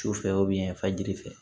Su fɛ yan fajiri fɛ